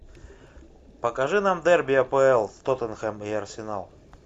покажи нам дерби апл тоттенхэм и арсенал